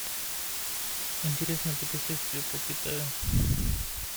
интересное путешествие по китаю